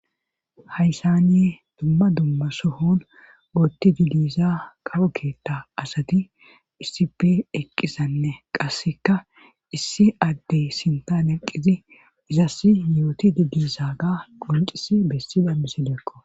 Hayssani dumma dumma sohon ootti didiza kawo keetha asati issipe eqqisanne qasseka issi addey sintan eqqizi izassi yooti didiisa ga qoncisi bessida misideekko